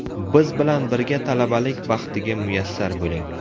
Biz bilan birga talabalik baxtiga muyassar bo‘ling!